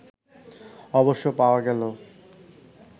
অবশ্য পাওয়া গেল